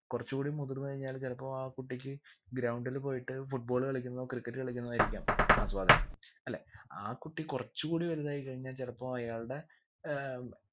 കുറച്ച് കൂടി മുതിർന്ന് കഴിഞ്ഞാൽ ചിലപ്പോ ആ കുട്ടിക്ക് ground ൽ പോയിട്ട് football കളിക്കുന്നതോ cricket കളിക്കുന്നതോ ആയിരിക്കാം ആസ്വാദനം അല്ലെ ആ കുട്ടി കുറച്ചൂടി വലുതായി കഴിഞ്ഞാ ചിലപ്പോ അയാൾടെ ഏർ